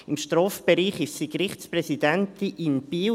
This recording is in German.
Im Strafbereich ist sie Gerichtspräsidentin in Biel.